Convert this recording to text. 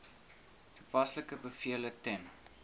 toepaslike bevele ten